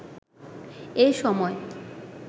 এ সময়